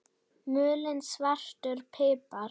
Mulinn svartur pipar